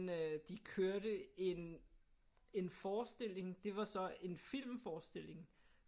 Øh de kørte en en forestilling det var så en filmforestilling